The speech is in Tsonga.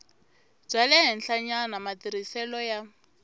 bya le henhlanyana matirhiselo ya